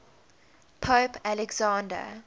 pope alexander